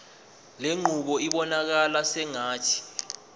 lenqubo ibonakala sengathi